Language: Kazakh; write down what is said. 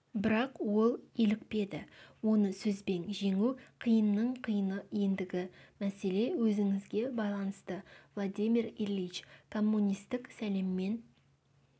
бірақ ол илікпеді оны сөзбен жеңу қиынның қиыны ендігі мәселе өзіңізге байланысты владимир ильич коммунистік сәлеммен